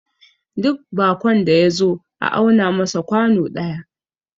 duk bakon da ya zo a auna masa kwano daya